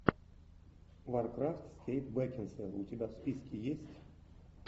варкрафт с кейт бекинсейл у тебя в списке есть